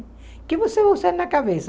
O que você vai usar na cabeça?